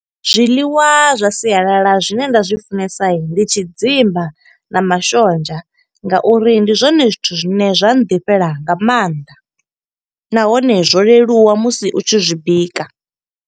Zwiḽiwa zwa sialala zwine nda zwi funesa ndi tshidzimba na mashonzha, nga uri ndi zwone zwithu zwine zwa ḓifhela nga maanḓa. Nahone, zwo leluwa musi u tshi zwi bika.